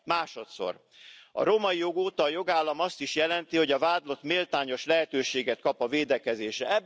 Másodszor A római jog óta a jogállam azt is jelenti, hogy a vádlott méltányos lehetőséget kap a védekezésre.